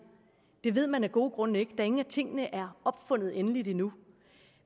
det ved man af gode grunde ikke da ingen af tingene er opfundet endeligt endnu